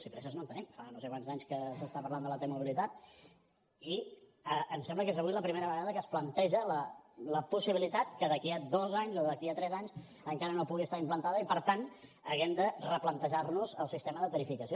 si presses no en tenim fa no sé quants anys que s’està parlant de la t mobilitat i em sembla que és avui la primera vegada que es planteja la possibilitat que d’aquí a dos anys o d’aquí a tres anys encara no pugui estar implantada i per tant haguem de replantejar nos el sistema de tarificació